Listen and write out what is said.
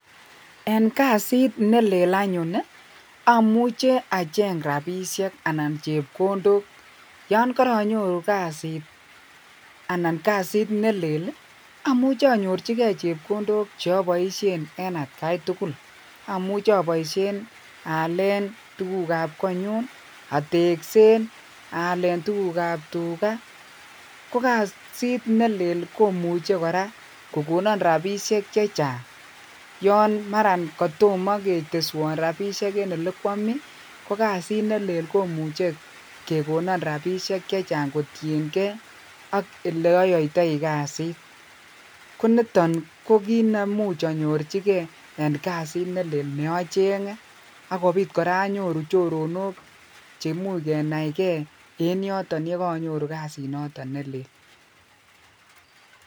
En kasit nelel anyun amuche achenge rabishek anan chepkondok, yoon koronyoru kasit anan kasit nelel amuche anyorchike chepkondok en atkai tukul, Ã muche aboishen en alen tukab konyun ateksen aleen tukukab tuka, ko kasit nelel komuche kora kokonon rabishek chechang yoon Maran kotomo keteswon rabishek en elekwomii ko kasit nelel komuche kekonon rabishek chechang kotieng'e ak eleoyoitoi kasit, koniton ko kiit nemuje anyorchike en kasit nelel ne ocheng'e ak kobit kora anyoru choronok cheimuch kenaikee en yoton yekanyoru kasinoton nelel.